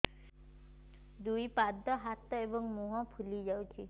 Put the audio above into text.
ଦୁଇ ପାଦ ହାତ ଏବଂ ମୁହଁ ଫୁଲି ଯାଉଛି